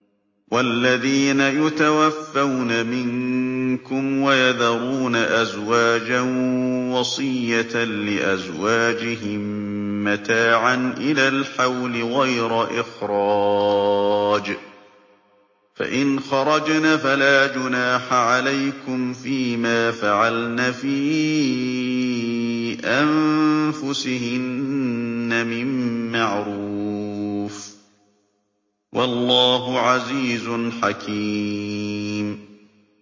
وَالَّذِينَ يُتَوَفَّوْنَ مِنكُمْ وَيَذَرُونَ أَزْوَاجًا وَصِيَّةً لِّأَزْوَاجِهِم مَّتَاعًا إِلَى الْحَوْلِ غَيْرَ إِخْرَاجٍ ۚ فَإِنْ خَرَجْنَ فَلَا جُنَاحَ عَلَيْكُمْ فِي مَا فَعَلْنَ فِي أَنفُسِهِنَّ مِن مَّعْرُوفٍ ۗ وَاللَّهُ عَزِيزٌ حَكِيمٌ